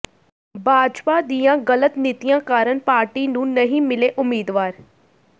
ਭਾਜਪਾ ਦੀਆਂ ਗ਼ਲਤ ਨੀਤੀਆਂ ਕਾਰਨ ਪਾਰਟੀ ਨੂੰ ਨਹੀਂ ਮਿਲੇ ਉਮੀਦਵਾਰ